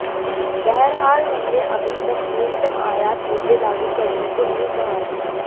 बहरहाल हमने अभी तक न्यूनतम आयात मूल्य लागू करने को नहीं कहा है